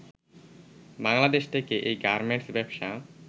বাংলাদেশ থেকে এই গার্মেন্টস ব্যবসা